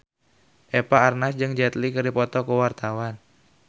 Eva Arnaz jeung Jet Li keur dipoto ku wartawan